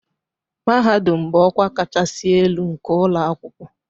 Mahadum bụ ọkwa kachasị elu nke ụlọ akwụkwọ